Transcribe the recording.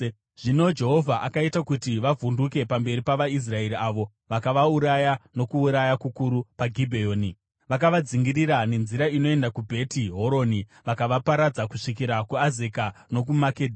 Zvino Jehovha akaita kuti vavhunduke pamberi pavaIsraeri, avo vakavauraya nokuuraya kukuru paGibheoni, vakavadzingirira nenzira inoenda kuBheti Horoni, vakavaparadza kusvikira kuAzeka nokuMakedha.